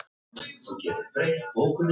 Samt tóku timburmennirnir sífellt lengri tíma.